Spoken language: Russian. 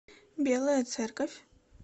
белая церковь